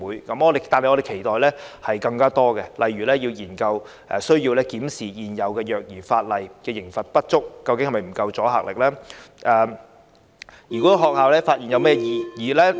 然而，我們期待有更多措施，例如需要研究、檢視現有虐兒法例，有關刑罰的阻嚇力究竟是否不足呢？